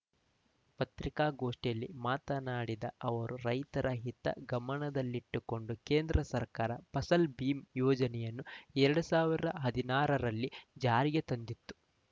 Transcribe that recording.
ಪತ್ರಿಕಾಗೋಷ್ಠಿಯಲ್ಲಿ ಮಾತನಾಡಿದ ಅವರು ರೈತರ ಹಿತ ಗಮನದಲ್ಲಿಟ್ಟುಕೊಂಡು ಕೇಂದ್ರ ಸರ್ಕಾರ ಫಸಲ್‌ ಬಿಮಾ ಯೋಜನೆಯನ್ನು ಎರಡ್ ಸಾವಿರ ಹದಿನಾರರಲ್ಲಿ ಜಾರಿಗೆ ತಂದಿತ್ತು